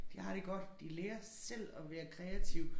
De har det godt de lærer selv at være kreative